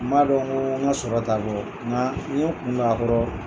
N man dɔn ko n ka sɔrɔ t'a bɔ nka n ye kun don a kɔrɔ.